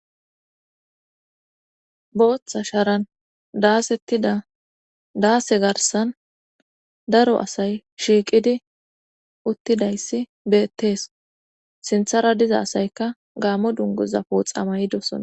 booththa sharan daasettida daase garsan daro asay shiiqidi uttidayssi beettees sinthara diza asaykka gaamo dungoza pooxama yidosona